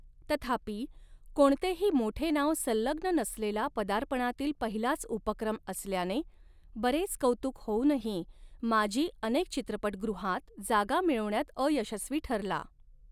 तथापि, कोणतेही मोठे नाव संलग्न नसलेला पदार्पणातील पहिलाच उपक्रम असल्याने, बरेच कौतुक होऊनही, माज़ी अनेक चित्रपटगृहांत जागा मिळविण्यात अयशस्वी ठरला.